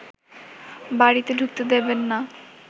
বাড়িতে ঢুকতে দেবেন না